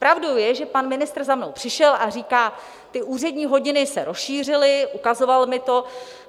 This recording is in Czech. Pravdou je, že pan ministr za mnou přišel a říká: Ty úřední hodiny se rozšířily, ukazoval mi to.